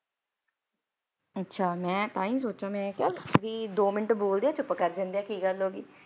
ਅੱਛਾ ਮੈਂ ਤਾਂ ਹੀ ਸੋਚਾਂ ਮੈਂ ਕਿਹਾ ਵੀ ਦੋ ਮਿੰਟ ਬੋਲਦੇ ਆ ਚੁੱਪ ਕਰ ਜਾਂਦੇ ਆ ਕੀ ਗੱਲ ਹੋ ਗਈ।